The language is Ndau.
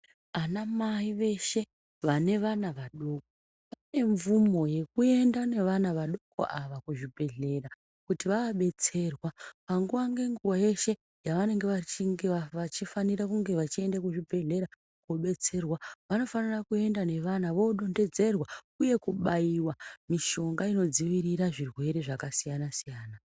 Anamai veshe, vane vana vadoko vane mvumo yekuenda nevana vadoko ava kuzvibhehlera kuti vabetserwa panguwa ngenguwa yeshe yavanenge vachifanira kunge vachienda zvibhehlera kobetserwa vanofanira kuenda nevana vodonhedzerwa uye kubaiwa mishonga inodzivirira zvirwere zvakasiyana-siyana.